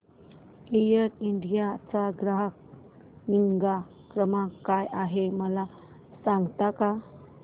air India चा ग्राहक निगा क्रमांक काय आहे मला सांगता का